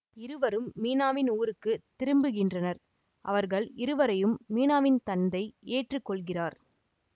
இருவரும் மீனாவின் ஊருக்கு திரும்புகின்றனர் அவர்கள் இருவரையும் மீனாவின் தந்தை ஏற்றுக்கொள்கிறார்